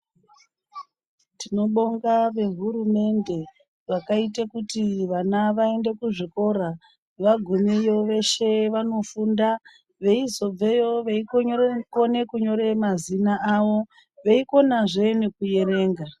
Tinobonga vehurumende vakaite kuti ana aende kuzvikora vagumeyo veshe vanofunda, veizobveyo veikone kunyora mazina avo veikonazve nekuerenga.